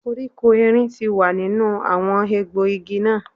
Koríko erin ti wà nínú àwọn egbò igi náà.